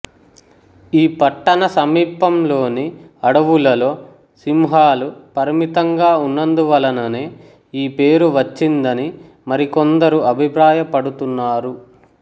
ఈ పట్టణ సమీపంలోని అడవులలో సింహలు పరిమితంగా ఉన్నందువలననే యీ పేరు వచ్చిందని మరి కొందరు అభిప్రాయపడుతున్నారు